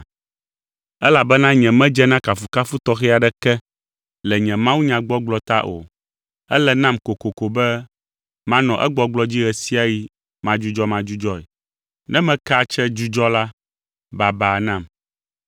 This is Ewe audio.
Elabena nyemedze na kafukafu tɔxɛ aɖeke le nye mawunyagbɔgblɔ ta o. Ele nam kokoko be manɔ egbɔgblɔ dzi ɣe sia ɣi madzudzɔmadzudzɔe. Ne meke atse dzudzɔ la, baba nam!